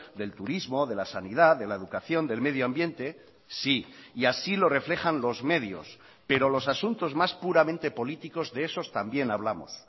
del turismo de la sanidad de la educación del medio ambiente sí y así lo reflejan los medios pero los asuntos más puramente políticos de esos también hablamos